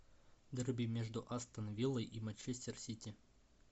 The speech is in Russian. дерби между астон виллой и манчестер сити